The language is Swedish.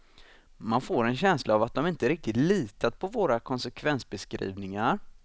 Man får en känsla av att de inte riktigt litat på våra konsekvensbeskrivningar.